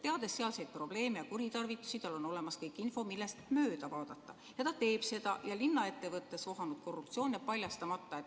Ta teab sealseid probleeme ja kuritarvitusi, tal on olemas info, millest mööda vaadata, ja ta teeb seda ja linna ettevõttes vohanud korruptsioon jääb paljastamata.